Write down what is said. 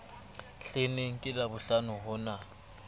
hleneng ke labohlano ho na